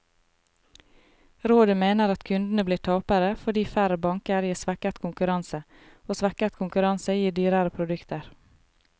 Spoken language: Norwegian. Rådet mener at kundene blir tapere, fordi færre banker gir svekket konkurranse, og svekket konkurranse gir dyrere produkter.